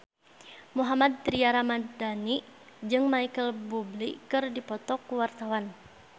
Mohammad Tria Ramadhani jeung Micheal Bubble keur dipoto ku wartawan